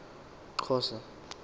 xhosa